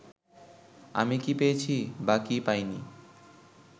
আমি কী পেয়েছি বা কী পাইনি